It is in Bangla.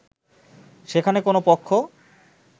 সেখানে কোন পক্ষ